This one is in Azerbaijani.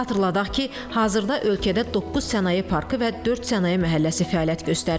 Xatırladaq ki, hazırda ölkədə doqquz sənaye parkı və dörd sənaye məhəlləsi fəaliyyət göstərir.